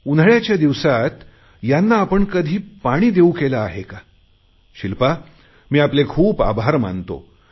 उन्हाळयाच्या दिवसात यांना आपण कधी पाणी देऊ केले आहे का शिल्पा मी आपले खूप खूप आभार मानतो